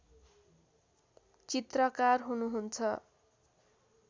चित्रकार हुनुहुन्छ